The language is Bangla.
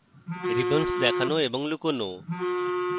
ribbons দেখানো এবং লুকোনো